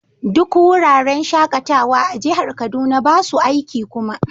Duk wuraren shakatawa a jihar Kaduna ba su aiki kuma.